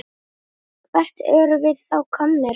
Hvert erum við þá komin?